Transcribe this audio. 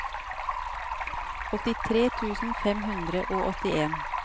åttitre tusen fem hundre og åttien